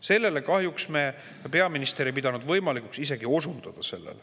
Sellele kahjuks peaminister ei pidanud võimalikuks isegi osundada.